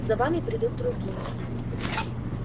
за вами придут другие